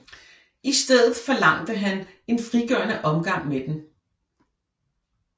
Istedet forlangte han en frigørende omgang med dem